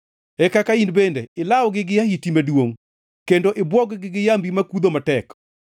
e kaka in bende ilawgi gi ahiti maduongʼ kendo ibwog-gi gi yambi makudho matek.